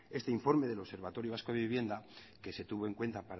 este informe del observatorio vasco de vivienda que se tuvo en cuenta